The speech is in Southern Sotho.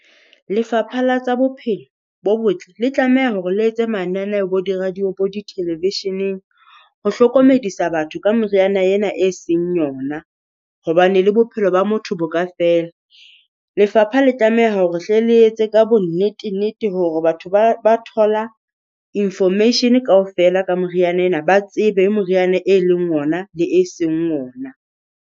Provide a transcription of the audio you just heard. Lefapha la tsa Bophelo bo Botle le tlameha hore le etse mananeo bo di-radio bo di-television-eng ho hlokomedisa batho ka moriana ena e seng yona. Hobane le bophelo ba motho bo ka fela. Lefapha la tlameha hore hle le etse ka bonnete-nnete hore batho ba ba thola Information kaofela ka moriana ena, ba tsebe moriana e leng ona le e seng ona.